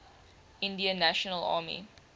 indian national army